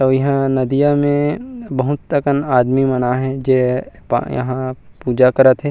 अउ इहा नदिया में बहुत अकन आदमी मन आह जे हा पूजा करत हे।